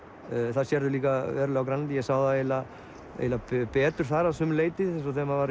það sérðu líka verulega á Grænlandi ég sá það eiginlega eiginlega betur þar að sumu leyti eins og þegar maður var